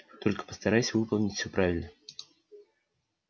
только постарайся выполнить всё правильно